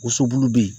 Woso bulu bɛ yen